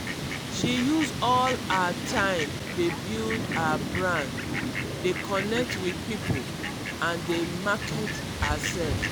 she use all her time dey build her brand dey connect with people and dey market hersef.